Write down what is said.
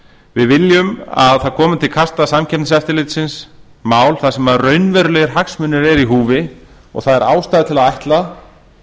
við viljum að það komi til kasta samkeppniseftirlitsins mál þar sem raunverulegir hagsmunir eru í húfi og það er ástæða til að ætla